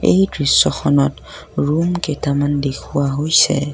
এই দৃশ্যখনত ৰূম কেইটামান দেখুওৱা হৈছে।